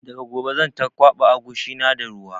Daga gobe zan ta kwaɓa agushi na da ruwa